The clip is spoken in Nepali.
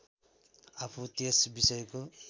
आफू त्यस विषयको